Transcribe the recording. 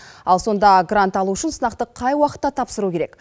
ал сонда грант алу үшін сынақты қай уақытта тапсыру керек